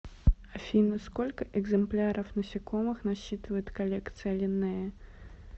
афина сколько экземпляров насекомых насчитывает коллекция линнея